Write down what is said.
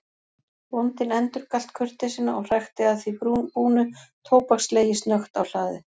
Bóndinn endurgalt kurteisina og hrækti að því búnu tóbakslegi snöggt á hlaðið.